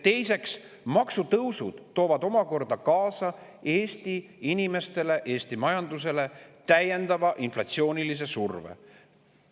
Teiseks, maksutõusud toovad omakorda Eesti inimestele ja Eesti majandusele kaasa täiendava inflatsioonilise surve.